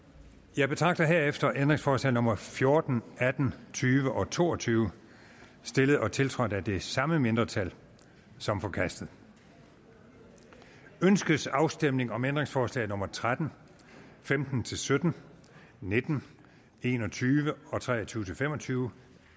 jeg betragter herefter ændringsforslag nummer fjorten atten tyve og to og tyve stillet og tiltrådt af det samme mindretal som forkastet ønskes afstemning om ændringsforslag nummer tretten femten til sytten nitten en og tyve og tre og tyve til fem og tyve